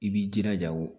I b'i jilaja o